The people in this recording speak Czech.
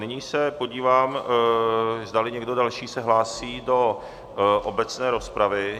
Nyní se podívám, zdali někdo další se hlásí do obecné rozpravy.